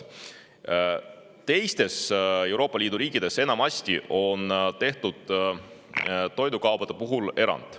Teistes Euroopa Liidu riikides on toidukaupadele tehtud enamasti erand.